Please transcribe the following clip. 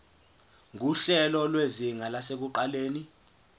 nguhlelo lwezinga lasekuqaleni